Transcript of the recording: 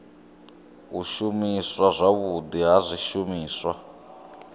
u shumiswa zwavhudi ha zwishumiswa